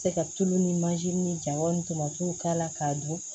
Se ka tulu ni mansin ni jaba ni tomatiw k'a la k'a dun